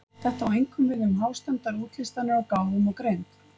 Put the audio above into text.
Þetta á einkum við um hástemmdar útlistanir á gáfum og greind.